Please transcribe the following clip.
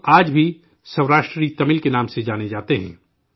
یہ لوگ آجب ھی 'سوراشٹری تمل' کے نام سے جانے جاتے ہیں